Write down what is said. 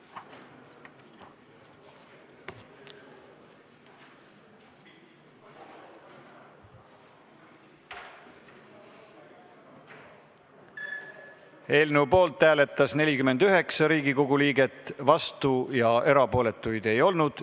Hääletustulemused Eelnõu poolt hääletas 49 Riigikogu liiget, vastuolijaid ja erapooletuid ei olnud.